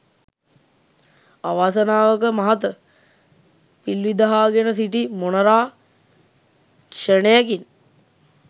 අවාසනාවක මහත! පිල්විහිදාගෙන සිටි මොණරා ක්‍ෂණයකින්